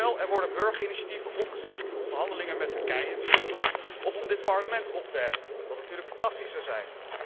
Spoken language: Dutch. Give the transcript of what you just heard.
Stel, er worden burgerinitiatieven opgezet om de onderhandelingen met Turkije te stoppen, of om dit Parlement op te heffen wat natuurlijk fantastisch zou zijn.